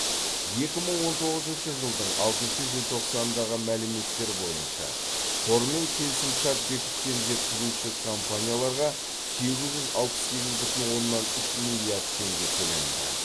екі мың он тоғызыншы жылдың алтыншы желтоқсандағы мәліметтер бойынша қормен келісімшарт бекіткен жеткізуші компанияларға сегіз жүз алпыс сегіз бүтін оннан үш миллиард теңге төленді